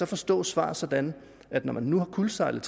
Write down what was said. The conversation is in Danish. forstå svaret sådan at når man nu er kuldsejlet